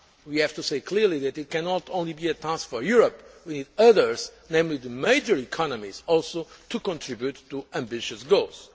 We have to say clearly that it cannot only be a task for Europe we need others, namely the major economies, also to contribute to ambitious goals.